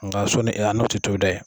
Nka soni a n'o ti tobi dɛ